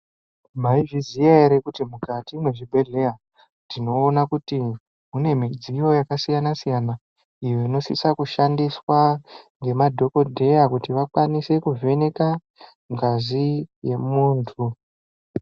Maizviziva here kuti mukati mezvibhedhlera tinoona kuti mune midziyo yakasiyana siyana inosisa kushandiswa nemadhokoteya kuti vakwanise kuvhenaka ngazi yemuntu.